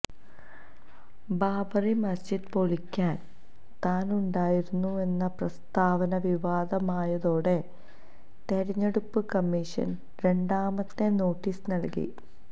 ബാബറി മസ്ജിദ് പൊളിക്കാന് താനുണ്ടായിരുന്നെന്ന പ്രസ്താവന വിവാദമായതോടെ തെരഞ്ഞെടുപ്പ് കമ്മീഷന് രണ്ടാമത്തെ നോട്ടീസ് നല്കി